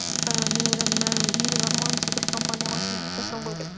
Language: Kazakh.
ііі мен ойладым мә менің арманым секілді компания ғой сонда жасасам ғой деп